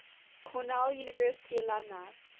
cornell university alumni